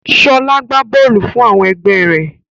Ṣọ́lá gbá góólù fún àwọn ẹgbẹ́ rẹ̀?